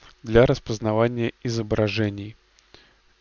для распознавания изображений